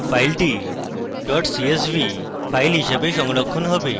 file csv dot csv file হিসাবে সংরক্ষণ হবে